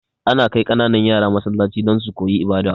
Ana kai kananan yara Masallaci don su koyi ibada